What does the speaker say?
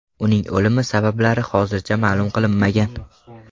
Uning o‘limi sabablari hozircha ma’lum qilinmagan.